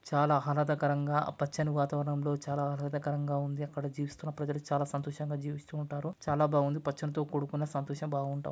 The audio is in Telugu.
చాలా ఆహ్లాదకరంగా ఆ పచ్చని వాతావరణం లో చాలా ఆహ్లాదకరంగా ఉంది అక్కడ జీవిస్తున్న ప్రజలు చాలా సంతోషంగా జీవిస్తూవుంటారు. చాలా బావుంది పచ్చనితో కూడుకున్న సంతోషం బావుంటావ్ --